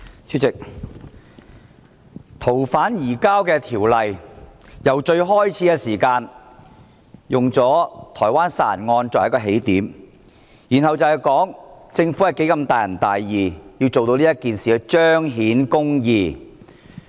主席，有關修訂《逃犯條例》，政府初時用台灣殺人案作為起點，然後表示如何大仁大義，要為這件事彰顯公義。